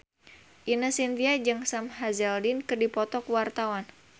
Ine Shintya jeung Sam Hazeldine keur dipoto ku wartawan